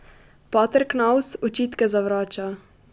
Pater Knavs očitke zavrača.